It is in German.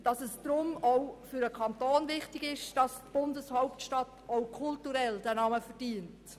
Deshalb ist es auch für den Kanton wichtig, dass die Bundehauptstadt auch kulturell diesen Namen verdient.